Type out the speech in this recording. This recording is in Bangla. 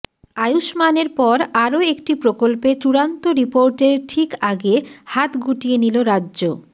আয়ুষ্মানের পর আরও একটি প্রকল্পে চূড়ান্ত রিপোর্টের ঠিক আগে হাত গুটিয়ে নিল রাজ্য